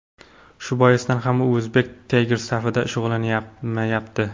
Shu boisdan ham u Uzbek Tigers safida shug‘ullanmayapti.